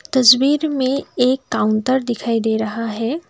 तस्वीर में एक काउंटर दिखाई दे रहा है।